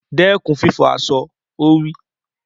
Dẹ́kun fífọ̀ aṣọ! Ó wí.